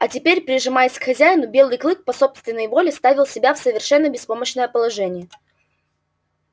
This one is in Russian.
а теперь прижимаясь к хозяину белый клык по собственной воле ставил себя в совершенно беспомощное положение